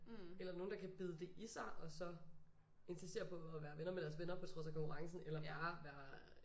Eller nogen der kan bide det i sig og så insistere på at være venner med deres venner på trods af konkurrencen eller bare være